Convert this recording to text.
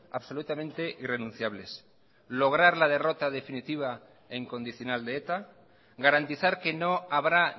absolutamente irrenunciables lograr la derrota definitiva e incondicional de eta garantizar que no habrá